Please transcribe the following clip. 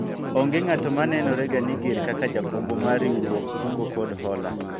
onge ng'at ma nenore ga ni ger kaka jakombwa mar riwruog kungo kod hola